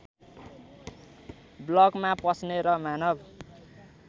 ब्लकमा पस्ने र मानव